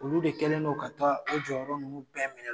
Olu de kɛlen ka taa, an jɔyɔrɔ ninnu bɛɛ minɛ